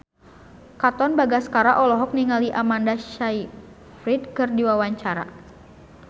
Katon Bagaskara olohok ningali Amanda Sayfried keur diwawancara